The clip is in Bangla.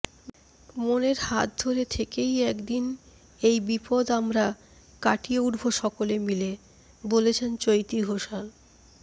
মনের হাত ধরে থেকেই একদিন এই বিপদ আমরা কাটিয়ে উঠব সকলে মিলে বলছেন চৈতী ঘোষাল